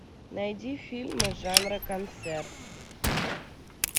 найди фильм жанра концерт